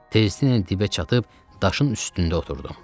Tezliklə dibə çatıb daşın üstündə oturdum.